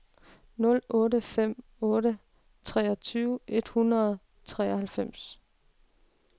nul otte fem otte treogtyve et hundrede og treoghalvfems